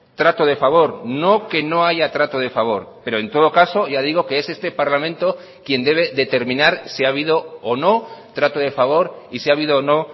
trato de favor no que no haya trato de favor pero en todo caso ya digo que es este parlamento quien debe determinar si ha habido o no trato de favor y si ha habido o no